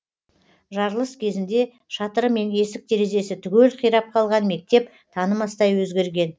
жарылыс кезінде шатыры мен есік терезесі түгел қирап қалған мектеп танымастай өзгерген